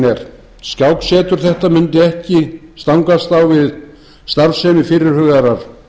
er skáksetur þetta mundi ekki stangast á við starfsemi fyrirhugaðrar